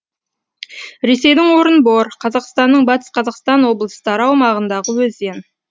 ресейдің орынбор қазақстанның батыс қазақстан облыстары аумағындағы өзен